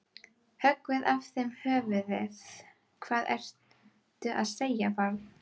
Höggvið af þeim höfuðið, hvað ertu að segja barn?